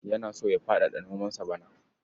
Yana so ya faɗaɗa nomansa bana.